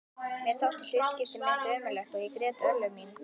Mér þótti hlutskipti mitt ömurlegt og ég grét örlög mín.